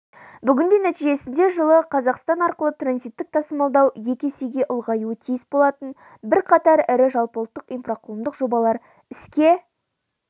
бүгінде нәтижесінде жылы қазақстан арқылы транзиттік тасымалдау екі есеге ұлғаюы тиіс болатын бірқатар ірі жалпыұлттық инфрақұрылымдық жобалар іске